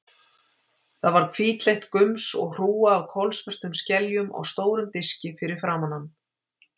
Það var hvítleitt gums og hrúga af kolsvörtum skeljum á stórum diski fyrir framan hann.